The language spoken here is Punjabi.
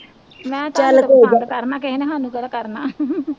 ਮੈਂ ਕਿਹਾ ਕਰਨਾ ਕਿਸੇ ਨੇ ਸਾਨੂੰ ਕਿਹੜਾ ਕਰਨਾ